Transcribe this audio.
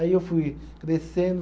Aí eu fui crescendo.